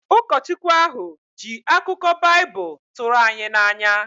Ụkọchukwu ahụ ji akụkọ Baịbụl tụrụ anyị n’anya